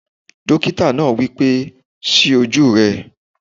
Dókítà náà wí pé "ṣí ojú rẹ!"